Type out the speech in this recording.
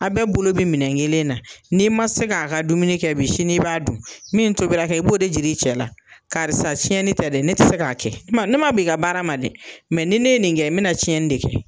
Aw bɛɛ bolo be minɛn kelen na ,n'i ma se ka ka dumuni kɛ bi sini i b'a dun . Min tobila kɛ i b'o de yiri i cɛ la , karisa tiɲɛni tɛ dɛ ne ti se ka kɛ , ne ma ban i ka baara ma dɛ ni ne ye nin kɛ n be na tiɲɛni de kɛ.